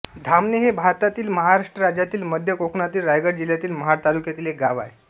धामणे हे भारतातील महाराष्ट्र राज्यातील मध्य कोकणातील रायगड जिल्ह्यातील महाड तालुक्यातील एक गाव आहे